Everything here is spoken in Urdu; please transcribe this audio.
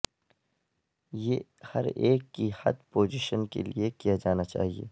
یہ ہر ایک کی حد پوزیشن کے لئے کیا جانا چاہئے